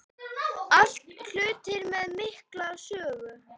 Allt hlutir með mikla sögu.